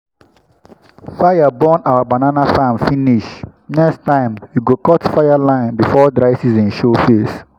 fire burn our banana farm finish next time we go cut fireline before dry season show face.